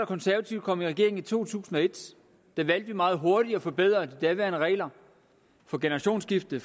konservative kom i regering i to tusind og et valgte vi meget hurtigt at forbedre de daværende regler for generationsskifte